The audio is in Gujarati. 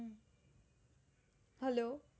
hello